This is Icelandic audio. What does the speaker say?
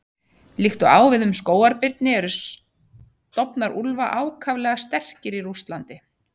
Líkt og á við um skógarbirni eru stofnar úlfa ákaflega sterkir í Rússlandi.